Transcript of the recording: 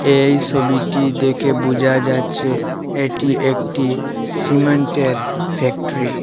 এই ছবিটি দেখে বোঝা যাচ্ছে এটি একটি সিমেন্ট -এর ফ্যাক্টরি ।